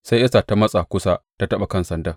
Sai Esta ta matsa kusa ta taɓa kan sandan.